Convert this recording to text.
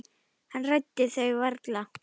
Hann ræddi þau varla.